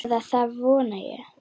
Eða það vona ég,